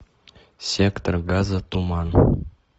сектор газа туман